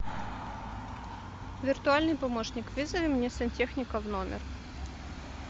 виртуальный помощник вызови мне сантехника в номер